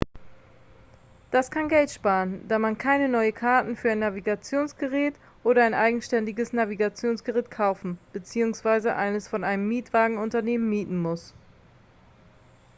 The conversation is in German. das kann geld sparen da man keine neuen karten für ein navigationsgerät oder ein eigenständiges navigationsgerät kaufen bzw. eines von einem mietwagenunternehmen mieten muss